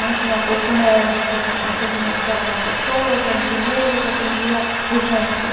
Não tinha posto médico, atendimento era uma pessoa que era enfermeira, que atendia urgências.